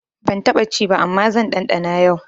Ban taɓa ci ba amma zan ɗanɗana yau.